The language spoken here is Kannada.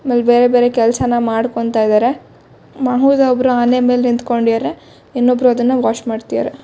ಇಲ್ಲಿ ಬೇರೆ ಬೇರೆ ಕೆಲಸನ ಮಾಡಕೊಂತಾ ಇದಾರೆ ಒಬ್ರು ಆನೆ ಮೇಲೆ ನಿಂತಕೊಂಡಿದರೆ ಇನ್ನೊಬ್ರು ಅದನ್ನ ವಾಶ್ ಮಾಡತ್ತಿದರೆ.